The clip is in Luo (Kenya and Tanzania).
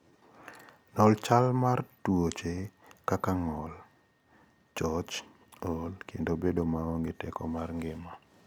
Non chal mar tuoche kaka ng'ol, ng'ol, choch, ool, kendo bedo maonge teko mar ngima.